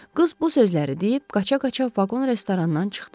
Qız bu sözləri deyib qaça-qaça vaqon restorandan çıxdı.